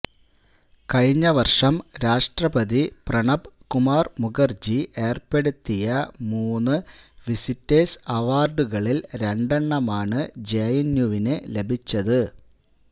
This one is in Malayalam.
കഴിഞ്ഞ വര്ഷം രാഷ്ട്രപതി പ്രണബ് കുമാര് മുഖര്ജി ഏര്പ്പെടുത്തിയ മൂന്ന് വിസിറ്റേഴ്സ് അവാര്ഡുകളില് രണ്ടെണ്ണമാണ് ജെഎന്യുവിന് ലഭിച്ചത്